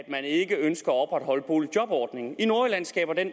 man ikke ønsker at opretholde boligjobordningen i nordjylland skaber den